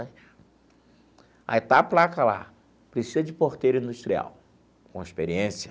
Aí está a placa lá, precisa de porteiro industrial, com experiência.